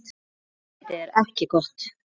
Útlitið er ekki gott.